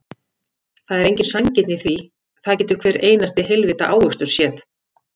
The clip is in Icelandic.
Það er engin sanngirni í því, það getur hver einasti heilvita ávöxtur séð.